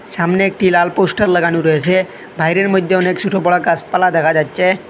সামনে একটি লাল পোস্টার লাগানো রয়েসে বাইরের মইধ্যে অনেক ছোট বড় গাসপালা দেখা যাচ্ছে।